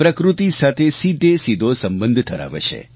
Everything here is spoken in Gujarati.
પ્રકૃતિ સાથે સીધેસીધો સંબંધ ધરાવે છે